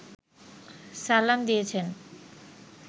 সালাম দিয়েছেন